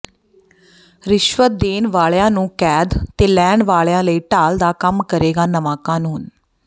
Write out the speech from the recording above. ਰਿਸ਼ਵਤ ਦੇਣ ਵਾਲਿਆਂ ਨੂੰ ਕੈਦ ਤੇ ਲੈਣ ਵਾਲਿਆਂ ਲਈ ਢਾਲ ਦਾ ਕੰਮ ਕਰੇਗਾ ਨਵਾਂ ਕਾਨੂੰਨ